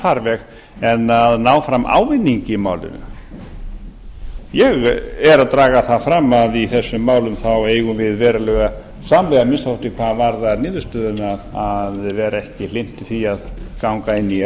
farveg en að ná fram ávinningi í málinu ég er að draga það fram að í þessum málum eigum við verulega samleið amnk hvað varðar niðurstöðuna að vera ekki hlynntir því að ganga inn í